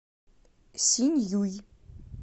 синьюй